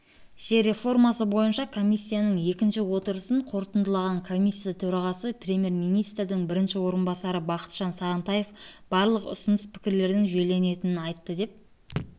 жер реформасы бойынша комиссияның екінші отырысын қорытындылаған комиссия төрағасы премьер-министрінің бірінші орынбасары бақытжан сағынтаев барлық ұсыныс-пікірлердің жүйеленетінін айтты деп